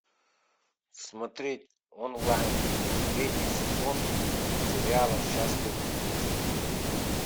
смотреть онлайн третий сезон сериала счастливы вместе